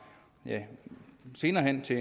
senere hen til